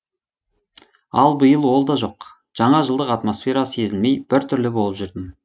ал биыл ол да жоқ жаңа жылдық атмосфера сезілмей бір түрлі болып жүрдім